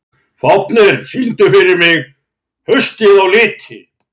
Fáfnir, syngdu fyrir mig „Haustið á liti“.